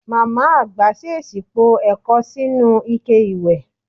Màmá àgbà s̩ès̩ì po è̩ko̩ sínú ike ìwẹ̀.